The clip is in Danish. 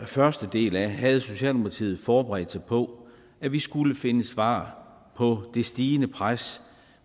første del af havde socialdemokratiet forberedt sig på at vi skulle finde svar på det stigende pres